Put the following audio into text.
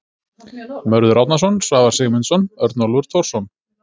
Mörður Árnason, Svavar Sigmundsson, Örnólfur Thorsson.